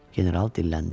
General dilləndi.